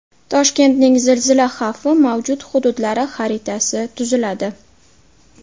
Toshkentning zilzila xavfi mavjud hududlari xaritasi tuziladi.